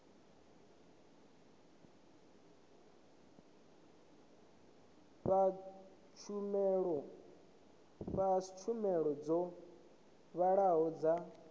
fha tshumelo dzo vhalaho dza